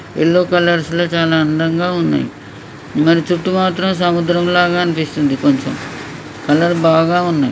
Yellow colours లో చాలా అందంగా ఉన్నాయ్ మరి చుట్టూ మాత్రం సముద్రం లాగా అనిపిస్తుంది కొంచెం కలర్ బాగా ఉన్నాయ్.